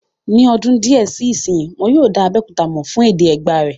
Ní ọdún díẹ̀ sí ìsínyi, wọ́n yóò dá Abéòkúta mọ̀ fún èdè Ẹ̀gbá rẹ̀